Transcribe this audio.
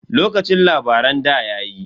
Lokacin labaran ɗa yayi.